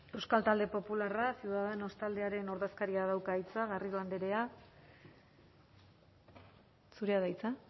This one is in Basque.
euskal talde popularra ciudadanos taldearen ordezkariak dauka hitza garrido andrea zurea da hitza